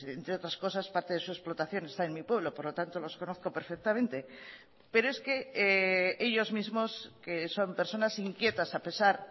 entre otras cosas parte de su explotación está en mi pueblo por lo tanto los conozco perfectamente pero es que ellos mismos que son personas inquietas a pesar